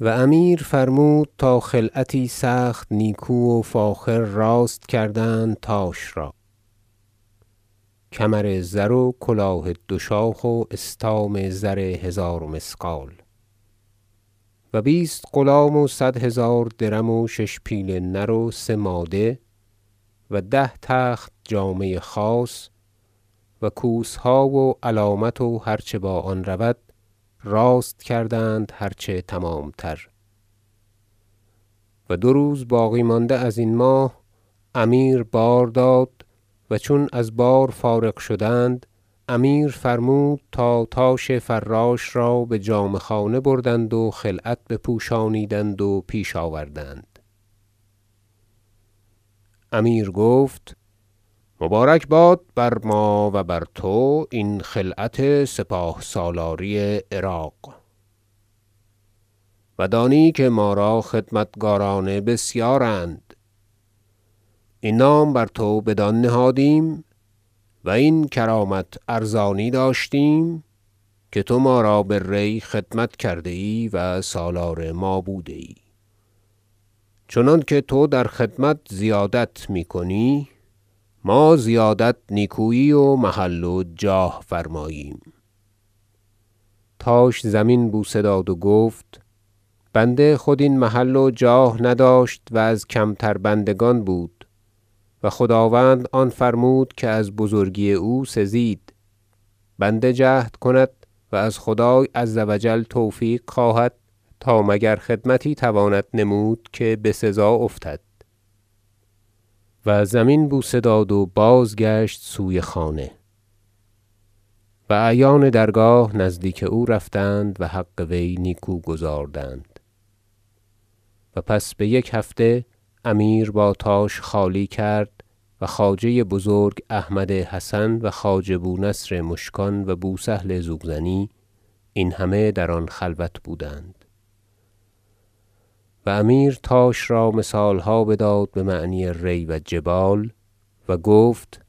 و امیر فرمود تا خلعتی سخت نیکو و فاخر راست کردند تاش را کمرزر و کلاه دو شاخ و استام زر هزار مثقال و بیست غلام و صد هزار درم و شش پیل نر و سه ماده و ده تخت جامه خاص و کوسها و علامت و هر چه با آن رود راست کردند هر چه تمام تر و دو روز باقی مانده ازین ماه امیر بار داد و چون از بار فارغ شدند امیر فرمود تا تاش فراش را بجامه خانه بردند و خلعت بپوشانیدند و پیش آوردند امیر گفت مبارک باد بر ما و بر تو این خلعت سپاه سالاری عراق و دانی که ما را خدمتکاران بسیارند این نام بر تو بدان نهادیم و این کرامت ارزانی داشتیم که تو ما را به ری خدمت کرده ای و سالار ما بوده ای چنانکه تو در خدمت زیادت می کنی ما زیادت نیکویی و محل و جاه فرماییم تاش زمین بوسه داد و گفت بنده خود این محل و جاه نداشت و از کمتر بندگان بود و خداوند آن فرمود که از بزرگی او سزید بنده جهد کند و از خدای عز و جل توفیق خواهد تا مگر خدمتی تواند نمود که بسزا افتد و زمین بوسه داد و بازگشت سوی خانه و اعیان درگاه نزدیک او رفتند و حق وی نیکو گزاردند تصب تاش به سپهسالاری ری و پس بیک هفته امیر با تاش خالی کرد و خواجه بزرگ احمد حسن و خواجه بو نصر مشکان و بو سهل زوزنی این همه در آن خلوت بودند و امیر تاش را مثالها بداد بمعنی ری و جبال و گفت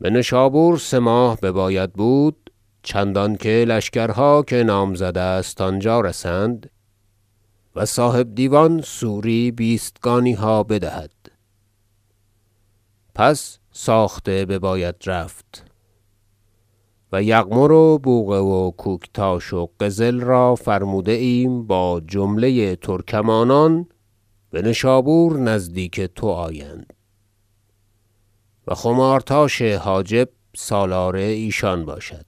بنشابور سه ماه بباید بود چندان که لشکرها که نامزد است آنجا رسند و صاحب دیوان سوری بیستگانیها بدهد پس ساخته بباید رفت و یغمر و بوقه و کوکتاش و قزل را فرموده ایم با جمله ترکمانان بنشابور نزدیک تو آیند و خمار تاش حاجب سالار ایشان باشد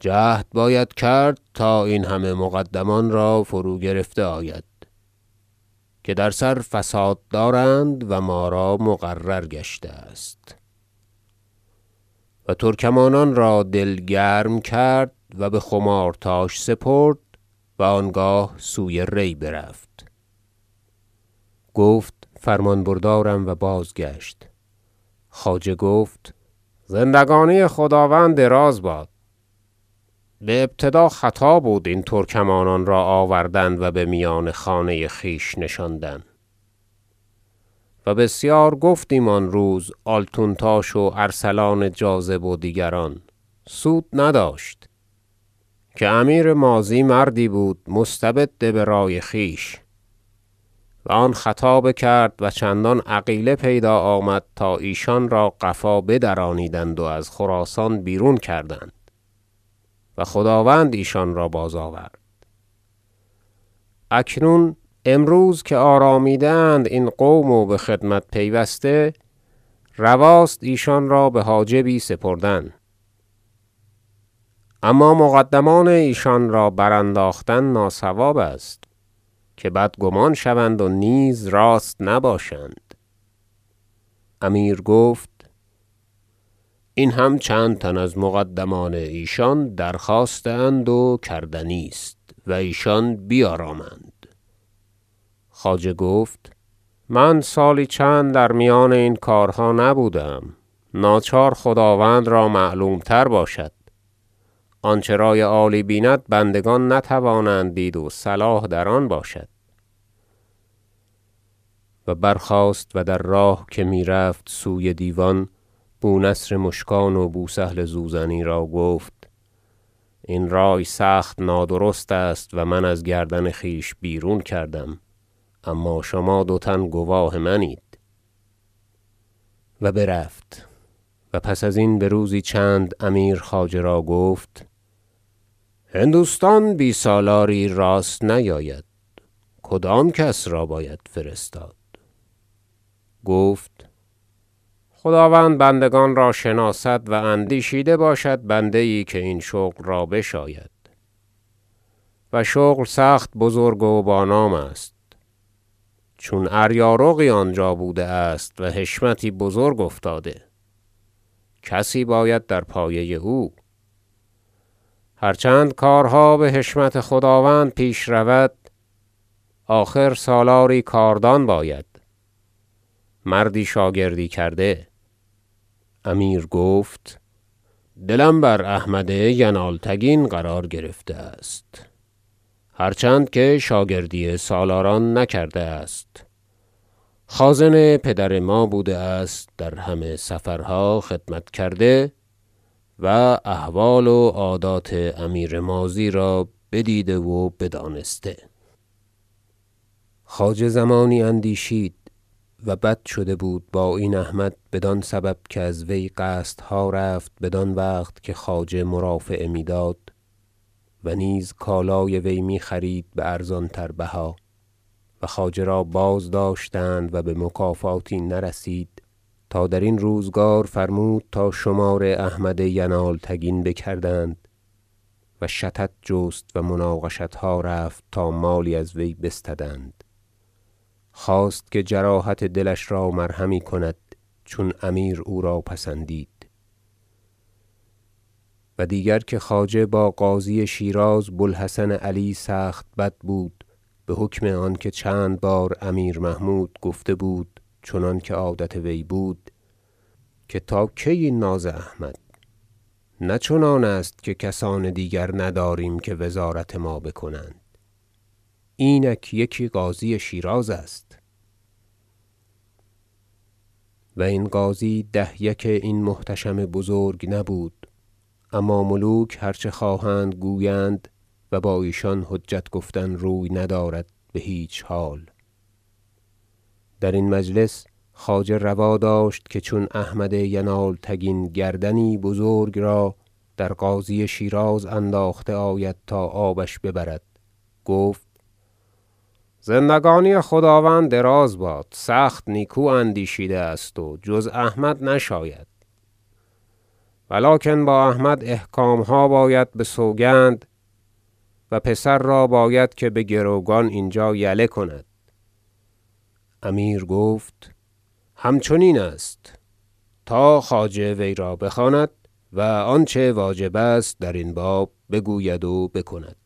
جهد باید کرد تا این مقدمان را فرو گرفته آید که در سر فساد دارند و ما را مقرر گشته است و ترکمانان را دل گرم کرد و بخمارتاش سپرد و آنگاه سوی ری برفت گفت فرمان بردارم و بازگشت خواجه گفت زندگانی خداوند دراز باد بابتدا خطا بود این ترکمانان را آوردن و بمیان خانه خویش نشاندن و بسیار گفتیم آن روز آلتون تاش و ارسلان جاذب و دیگران سود نداشت که امیر ماضی مردی بود مستبد برأی خویش و آن خطا بکرد و چندان عقیله پیدا آمد تا ایشان را قفا بدرانیدند و از خراسان بیرون کردند و خداوند ایشان را بازآورد اکنون امروز که آرامیده اند این قوم و بخدمت پیوسته رواست ایشان را بحاجبی سپردن اما مقدمان ایشان را برانداختن ناصواب است که بدگمان شوند و نیز راست نباشند امیر گفت این هم چند تن از مقدمان ایشان درخواسته اند و کردنی است و ایشان بیارامند خواجه گفت من سالی چند در میان این کارها نبوده ام ناچار خداوند را معلوم تر باشد آنچه رأی عالی بیند بندگان نتوانند دید و صلاح در آن باشد و برخاست و در راه که می رفت سوی دیوان بو نصر مشکان و بو سهل زوزنی را گفت این رأی سخت نادرست است و من از گردن خویش بیرون کردم اما شما دو تن گواه منید و برفت و پس ازین بروزی چند امیر خواجه را گفت هندوستان بی سالاری راست نیاید کدام کس را باید فرستاد گفت خداوند بندگان را شناسد و اندیشیده باشد بنده یی که این شغل را بشاید و شغل سخت بزرگ و با نام است چون اریارقی آنجا بوده است و حشمتی بزرگ افتاده کسی باید در پایه او هر چند کارها بحشمت خداوند پیش رود آخر سالاری کاردان باید مردی شاگردی کرده امیر گفت دلم بر احمد ینالتگین قرار گرفته است هر چند که شاگردی سالاران نکرده است خازن پدر ما بوده است در همه سفرها خدمت کرده و احوال و عادات امیر ماضی را بدیده و بدانسته خواجه زمانی اندیشید- و بد شده بود با این احمد بدان سبب که از وی قصدها رفت بدان وقت که خواجه مرافعه میداد و نیز کالای وی می خرید بارزان تر بها و خواجه را بازداشتند و بمکافاتی نرسید تا درین روزگار فرمود تا شمار احمد ینالتگین بکردند و شطط جست و مناقشتها رفت تا مالی از وی بستدند- خواست که جراحت دلش را مرهمی کند چون امیر او را پسندید و دیگر که خواجه با قاضی شیراز بو الحسن علی سخت بد بود بحکم آنکه چند بار امیر محمود گفته بود چنانکه عادت وی بود که تا کی این ناز احمد نه چنان است که کسان دیگر نداریم که وزارت ما بکنند اینک یکی قاضی شیراز است و این قاضی ده یک این محتشم بزرگ نبود اما ملوک هر چه خواهند گویند و با ایشان حجت گفتن روی ندارد بهیچ حال درین مجلس خواجه روا داشت که چون احمد ینالتگین گردنی بزرگ را در قاضی شیراز انداخته آید تا آبش ببرد گفت زندگانی خداوند دراز باد سخت نیکو اندیشیده است و جز احمد نشاید ولکن با احمد احکامها باید بسوگند و پسر را باید که بگروگان اینجا یله کند امیر گفت همچنین است تا خواجه وی را بخواند و آنچه واجب است درین باب بگوید و بکند